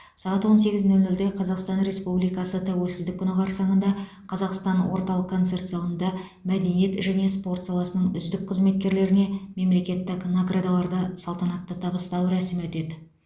сағат он сегіз нөл нөлде қазақстан республикасы тәуелсіздік күні қарсаңында қазақстан орталық концерт залында мәдениет және спорт саласының үздік қызметкерлеріне мемлекеттік наградаларды салтанатты табыстау рәсімі өтеді